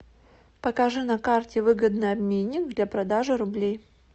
покажи на карте выгодный обменник для продажи рублей